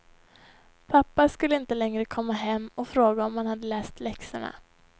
Pappa skulle inte längre komma hem och fråga om man hade läst läxorna.